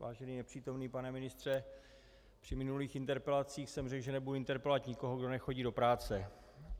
Vážený nepřítomný pane ministře, při minulých interpelacích jsem řekl, že nebudu interpelovat nikoho, kdo nechodí do práce.